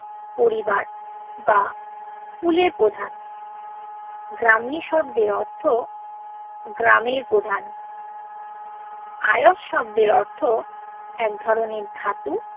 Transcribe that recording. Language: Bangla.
পরিবার বা কুলের প্রধান গ্রামি শব্দর অর্থ গ্রামের প্রধান আযোস শব্দর অর্থ এক ধরনের ধাতু